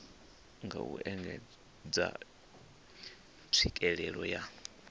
nga u engedza tswikelelo ya